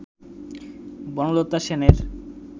বনলতা সেনের